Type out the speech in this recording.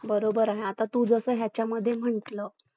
चालतंय चालतंय